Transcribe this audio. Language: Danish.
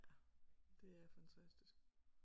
Ja det er fantastisk